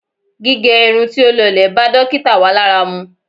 Gígẹ irun tí ó lọlẹ̀ bá dókítà wa lára mu.